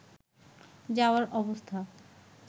যাওয়ার অবস্থা